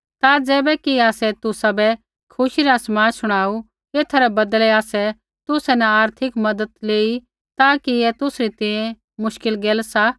ता ज़ैबैकि आसै तुसाबै खुशी रा समाद शुणाऊ एथा रै बदलै आसै तुसा न आर्थिक मज़त लेई ता कि ऐ तुसरी तैंईंयैं मुश्किल गैल सा